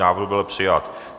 Návrh byl přijat.